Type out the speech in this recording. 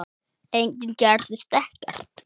Enn gerðist ekkert.